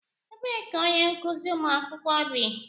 Ebee ka onye nkụzi ụmụ akwụkwọ bi?